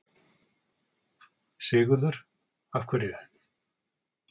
Sigurður: Af hverju?